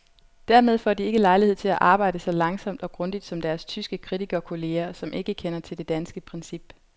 Dermed får de ikke lejlighed til at arbejde så langsomt og grundigt som deres tyske kritikerkolleger, som ikke kender til det danske princip.